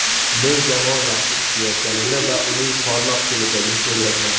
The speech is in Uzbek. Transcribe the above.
Men jamoa yaxshi ishlayotganini va uning porloq kelajagini ko‘ryapman.